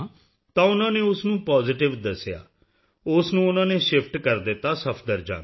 ਤਾਂ ਉਨ੍ਹਾਂ ਨੇ ਉਸ ਨੂੰ ਪਾਜ਼ੀਟਿਵ ਦੱਸਿਆ ਉਸ ਨੂੰ ਉਨ੍ਹਾਂ ਨੇ ਸ਼ਿਫਟ ਕਰ ਦਿੱਤਾ ਸਫਦਰਜੰਗ